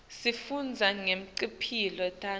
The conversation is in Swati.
sifundza nangetimpihlo tabo